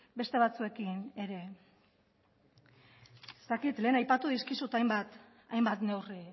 beste batzuekin ere ez dakit lehen aipatu dizkizuten hainbat neurri